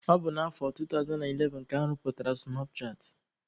Ọ bụ na afọ 2011 ka arụpụtara sụnap chatị.